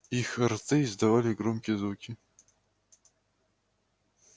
их рты издавали громкие звуки